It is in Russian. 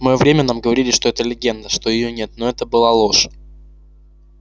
в моё время нам говорили что это легенда что её нет но это была ложь